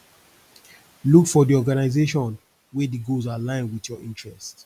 look for di organisation wey di goals align with your interest